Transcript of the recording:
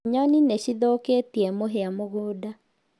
Nyoni nĩ cithũkĩtie mũhĩa mũgunda